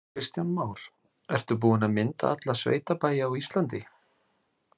Kristján Már: Ertu búin að mynda alla sveitabæi á Íslandi?